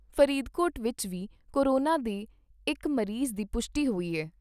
ਫਰੀਦਕੋਟ ਵਿਚ ਵੀ ਕੋਰੋਨਾ ਦੇ ਇਕ ਮਰੀਜ਼ ਦੀ ਪੁਸ਼ਟੀ ਹੋਈ ਐ।